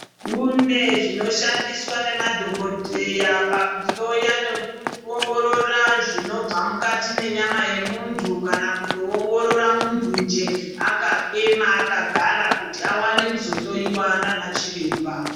Kune zvinoshandiswa nemadhogodheya pakuhloya nekuongorora zvinobva mukati menyama yemuntu. Kana kutoongorora muntu njee akaema akagara kuti avane kuzohloiwa nana chiremba.